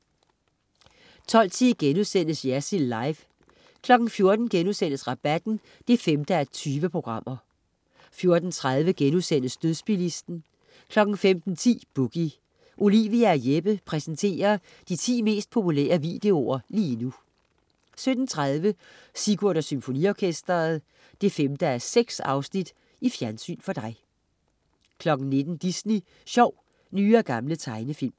12.10 Jersild Live* 14.00 Rabatten 5:20* 14.30 Dødsbilisten* 15.10 Boogie. Olivia og Jeppe præsenterer de 10 mest populære videoer lige nu 17.30 Sigurd og Symfoniorkestret. 5:6 Fjernsyn for dig 19.00 Disney sjov. Nye og gamle tegnefilm